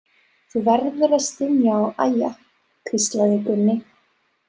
Þú verður að stynja og æja, hvíslaði Gunni.